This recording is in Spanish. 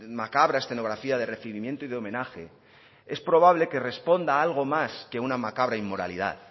macabra escenografía de recibimiento y de homenaje es probable que responda a algo más que una macabra inmoralidad